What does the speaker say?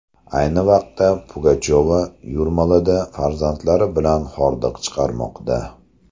Ayni vaqtda Pugachova Yurmalada farzandlari bilan hordiq chiqarmoqda.